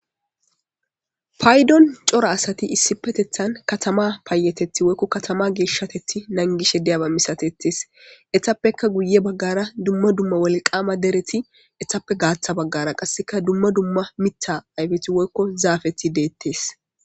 Payidon coora asati katama geshatethi woy payatethi nagishe de'aba misatetes etape guye bagara woliqqama dereti etape gatha bagara qasi duma duma mitha ayipeti woyiko zapeti de'etes